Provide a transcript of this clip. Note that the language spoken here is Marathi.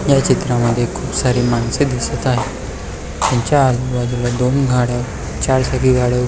ह्या चित्रामध्ये खुप सारे माणसे दिसत आहे तेंच्या आजूबाजूला दोन गाड्या चार चाकी गाड्या--